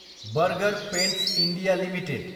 burger Paints India Ltd